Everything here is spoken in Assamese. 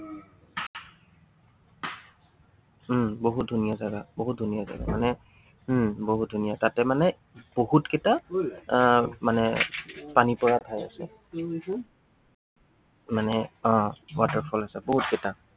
উম বহুত ধুনীয়া জাগা, বহুত ধুনীয়া জাগা। মানে উম বহুত ধুনীয়া। তাতে মানে বহুতকেইটা আহ মানে পানী পৰা ঠাই আছে। মানে আহ waterfall আছে বহুত কেইটা।